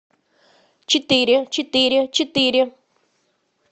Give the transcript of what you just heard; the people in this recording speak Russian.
четыре четыре четыре